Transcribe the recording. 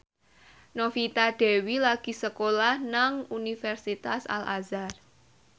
Novita Dewi lagi sekolah nang Universitas Al Azhar